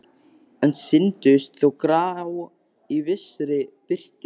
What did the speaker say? En sýndust þó grá í vissri birtu.